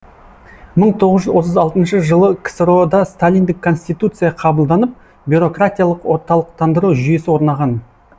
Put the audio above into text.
мың тоғыз жүз отыз алтыншы жылы ксро да сталиндік конституция қабылданып бюрократиялық орталықтандыру жүйесі орнаған